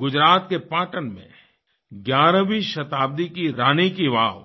गुजरात के पाटण में 11वीं शताब्दी की रानी की वाव